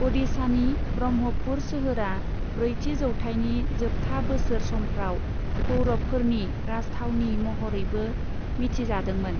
अ'डिशानि ब्रह्मपुर सोहोरआ ब्रैथि जौथाइनि जोबथा बोसोर समफ्राव पौरवफोरनि राजथावनि महरैबो मिथिजादोंमोन।